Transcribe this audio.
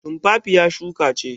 Tumfafiya shuka ce.